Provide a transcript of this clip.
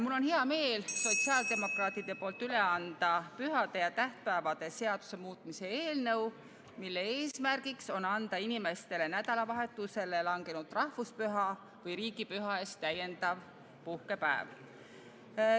Mul on hea meel Sotsiaaldemokraatliku Erakonna fraktsiooni poolt üle anda pühade ja tähtpäevade seaduse muutmise eelnõu, mille eesmärk on anda inimestele nädalavahetusele langenud rahvuspüha või riigipüha eest täiendav puhkepäev.